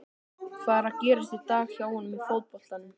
Hvað er að gerast í dag hjá honum í fótboltanum?